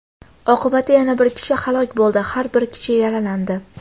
Oqibatda yana bir kishi halok bo‘ldi, bir kishi yaralandi.